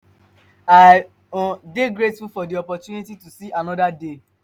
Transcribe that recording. i um dey grateful for di opportunity to see anoda day.